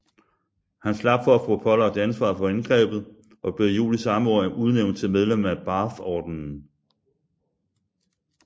Han slap for at få pålagt ansvaret for angrebet og blev i juli samme år udnævnt til medlem af Bathordenen